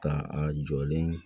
Ka a jɔlen